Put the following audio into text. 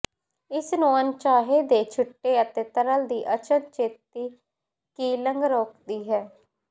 ਇਸ ਨੂੰ ਅਣਚਾਹੇ ਦੇ ਛਿੱਟੇ ਅਤੇ ਤਰਲ ਦੀ ਅਚਨਚੇਤੀ ਕੂਿਲੰਗ ਰੋਕਦੀ ਹੈ